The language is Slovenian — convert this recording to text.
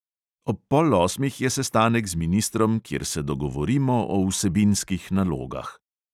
Ob pol osmih je sestanek z ministrom, kjer se dogovorimo o vsebinskih nalogah.